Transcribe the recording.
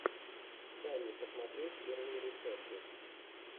дай мне посмотреть первые рецепты